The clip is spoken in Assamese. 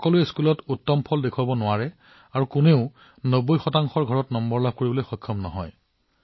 সকলোৱেই বিদ্যালয়ত উৎকৃষ্ট নহব পাৰে আৰু সকলোৱেই ৯০ ৰ ঘৰত নম্বৰ লাভ কৰিব নোৱাৰিবও পাৰে